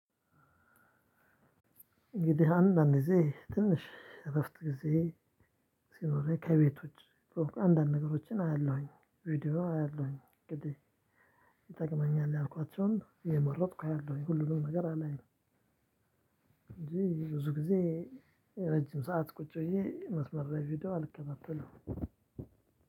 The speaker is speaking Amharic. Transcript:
እንግዲህ አንዳንድ ጊዜ ትንሽ እረፍት ጊዜ ሲኖረኝ ከቤት ውጭ ኦር አንዳንድ ነገሮችን አያለሁኝ። ቪዲዮ አያለሁኝ እንግዲህ ይጠቅመኛል፣ ያልኳቸውን እየመረጥኩ አያለው። የሁሉንም ነገር አላየሁም። እንጂ ብዙ ጊዜ ረጅም ሰዓት ቁጭ ብዬ መስመር ላይ ቪዲዮ አልከታተልም።